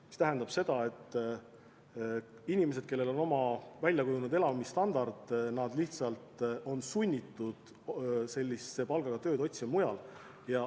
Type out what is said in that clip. See tähendab seda, et inimesed, kellel on oma väljakujunenud elamisstandard, lihtsalt on sunnitud sellise palgaga tööd otsima mujalt.